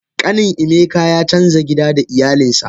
Kanin emeka ya canza gida da iyalinsa.